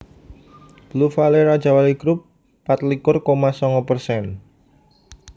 Blue Valley Rajawali Grup patlikur koma songo persen